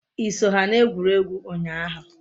I so ha n'egwurugwu unyahu?